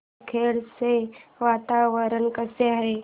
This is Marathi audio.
बामखेडा चे वातावरण कसे आहे